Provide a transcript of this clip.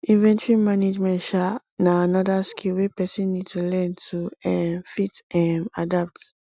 inventory management um na anoda skill wey person need to learn to um fit um adapt